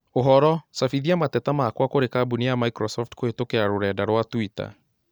Ũhoro cabithia mateta makwa kũrĩ kambũni ya Microsoft kũhītũkīra rũrenda rũa tũita